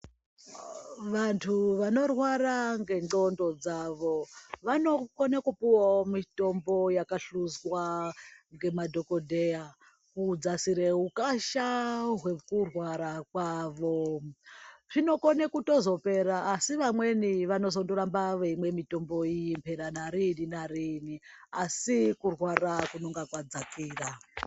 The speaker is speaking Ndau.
Vantu vanorwara ngendxondo dzavo, vanokone kupuwawo mitombo yakahluzwa ngemadhokodheya kudzasire ukasha hwekurwara kwavo. Zvinokone kutozopera asi vamweni vanozondoramba veimwe mitombo iyi pera narini narini asi kurwara kunonga kwadzakira.